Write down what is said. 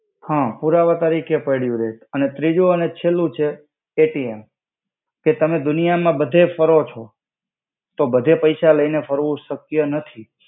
હા પુરાવા તરિકે પડ્યુ રે અને ત્રિજુ અને છેલુ છે અએટીએમ કે તમે દુનિયામા બધેય ફરો છો તો બધે પૈસા લઈને ફર્વુ શક્ય નથી.